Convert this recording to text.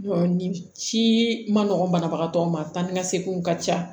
nin ci ma nɔgɔ banabagatɔ ma taa ni ka seginw ka ca